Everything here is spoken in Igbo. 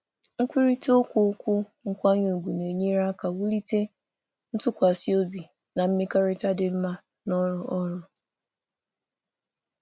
Mmekọrịta nkwanye ùgwù na-enyere aka wulite ntụkwasị obi na mmekọrịta dị mma n’ọrụ ozi.